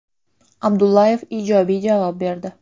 Abdullayev ijobiy javob berdi.